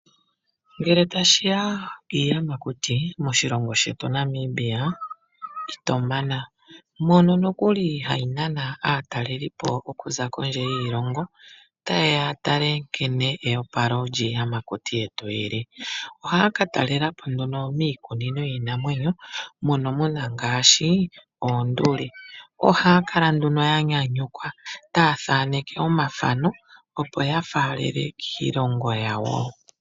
Ngele tashi ya kiiyamakuti moshilongo shetu Namibia ito mana. Mono nokuli hayi nana aatalelipo okuza kondje yiilongo, taye ya ya tale nkene eopalo lyiiyamati yetu li li. Ohaya ka talela po nduno miikunino yiinamwenyo mono mu na ngaashi oonduli. Ohaa kala nduno ya nyanyukwa taya thaneke omathano, opo ya faalele kiilongo yawo.